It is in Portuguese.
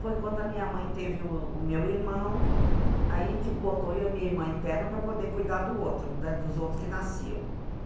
Foi quando a minha mãe teve o o meu irmão, aí tipo, botou eu e minha irmã interna para poder cuidar do outro né, dos outros que nasciam.